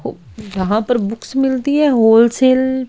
यहां पर बुक्स मिलती है होल सेल --